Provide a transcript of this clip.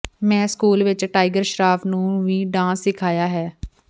ਮੈਂ ਸਕੂਲ ਵਿਚ ਟਾਈਗਰ ਸ਼ਰਾਫ ਨੂੰ ਵੀ ਡਾਂਸ ਸਿਖਾਇਆ ਹੈ